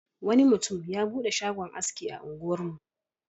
Wani mutum ya buɗe shagon aski a unguwarmu.